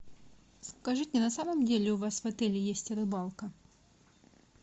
скажите на самом деле у вас в отеле есть рыбалка